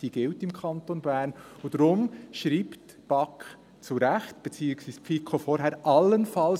diese gilt im Kanton Bern –, und darum schreibt die BaK, beziehungsweise vorher die FiKo, zu Recht «allenfalls»: